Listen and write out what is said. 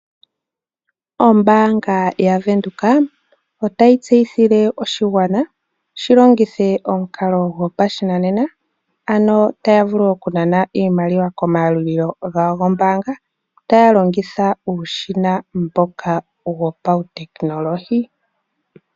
Ombaanga yaVenduka otayi tseyithile oshigwana opo shilongithe omukalo gopashinanena taya vulu o okunana iimaliwa komayalulilo gawo gombaanga taya longitha uushina mboka wopautekinolohi.